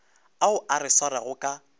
ao a re swarago ka